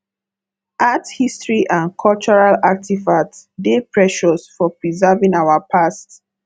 art history and cultural artifacts dey precious for preserving our past